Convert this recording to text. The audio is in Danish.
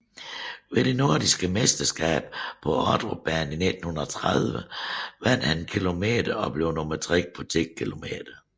Ved det Nordiske Mesterskab på Ordrupbanen i 1930 vandt han 1km och blev nummer tre på 10km